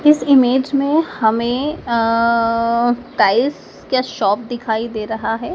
इस इमेज मैं हमें अं टाईल्स क्या शॉप दिखाई दे रहा हैं।